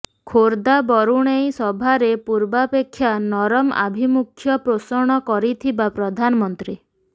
ଖୋର୍ଦ୍ଧା ବରୁଣେଇ ସଭାରେ ପୂର୍ବାପେକ୍ଷା ନରମ ଆଭିମୁଖ୍ୟ ପୋଷଣ କରିଥିବା ପ୍ରଧାନମନ୍ତ୍ରୀ